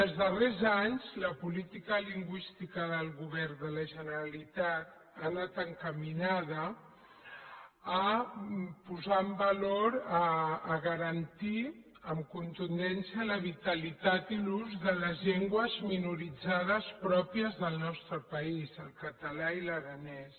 els darrers anys la política lingüística del govern de la generalitat ha anat encaminada a posar en valor a garantir amb contundència la vitalitat i l’ús de les llengües minoritzades pròpies del nostre país el català i l’aranès